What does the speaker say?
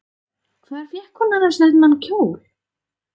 Hvar fékk hún annars þennan kjól?